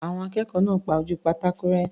Àwọn akẹ́kọ̀ọ́ náà pa ojú pátákò rẹ́.